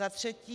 Za třetí.